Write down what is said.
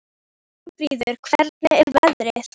Steinfríður, hvernig er veðrið úti?